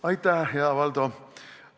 Aitäh, hea Valdo!